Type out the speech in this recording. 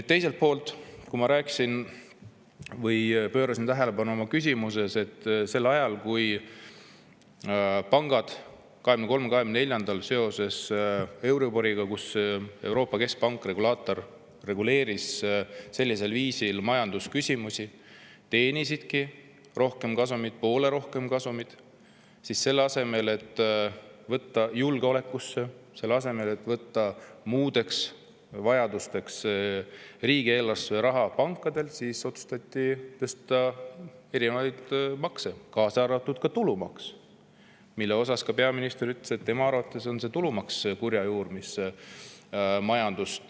Teiselt poolt, ma juhtisin oma küsimuses tähelepanu, et kui pangad 2023. ja 2024. aastal seoses euriboriga, kui Euroopa Keskpank regulaatorina reguleeris sellisel viisil majandusküsimusi, teenisid poole rohkem kasumit, siis selle asemel, et võtta riigieelarvesse julgeoleku jaoks, selle asemel, et võtta muudeks vajadusteks, otsustati tõsta erinevaid makse, kaasa arvatud tulumaksu, mille kohta peaminister ütles, et tema arvates on tulumaks see kurja juur, mis majandust